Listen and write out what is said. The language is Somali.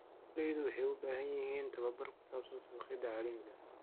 Beeraleydu waxay u baahan yihiin tababar ku saabsan suuqyada caalamiga ah.